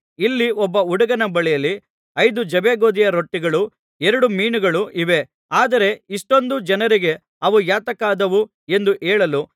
ಇಲ್ಲಿ ಒಬ್ಬ ಹುಡುಗನ ಬಳಿಯಲ್ಲಿ ಐದು ಜವೆಗೋದಿಯ ರೊಟ್ಟಿಗಳೂ ಎರಡು ಮೀನುಗಳೂ ಇವೆ ಆದರೆ ಇಷ್ಟೊಂದು ಜನರಿಗೆ ಅವು ಯಾತಕ್ಕಾದಾವು ಎಂದು ಹೇಳಲು